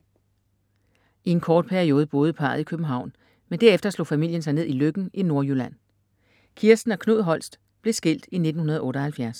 I en kort periode boede parret i København, men derefter slog familien sig ned i Løkken i Nordjylland. Kirsten og Knud Holst blev skilt i 1978.